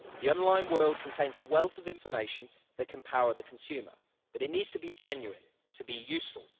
The online world contains a wealth of information that can empower the consumer, but it needs to be genuine to be useful.